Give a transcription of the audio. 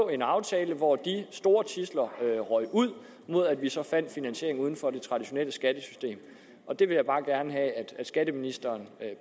en aftale hvor de store tidsler røg ud mod at vi så fandt finansiering uden for det traditionelle skattesystem og det vil jeg bare gerne have at skatteministeren